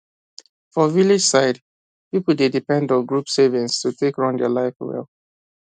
for village side people dey depend on group savings to take run their life well